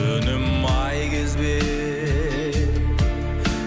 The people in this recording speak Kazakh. өнім ай кезбе